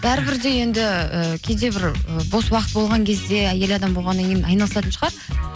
бәрі бір де енді ііі кейде бір і бос уақыт болған кезде әйел адам болғаннан кейін айналыстын шығар